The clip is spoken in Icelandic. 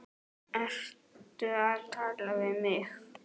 Ertu að tala við mig?